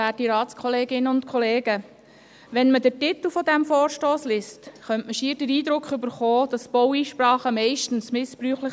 Der Titel des Vorstosses erweckt fast den Eindruck, Baueinsprachen seien meistens missbräuchlich.